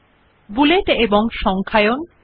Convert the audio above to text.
in this tutorial we learn the following